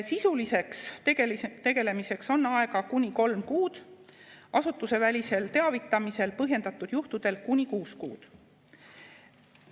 Sisuliseks tegelemiseks on aega kuni kolm kuud, asutusevälisel teavitamisel põhjendatud juhtudel kuni kuus kuud.